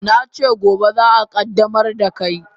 Na ce gobe za a qaddamar da kai.